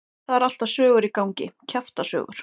Það eru alltaf sögur í gangi, kjaftasögur.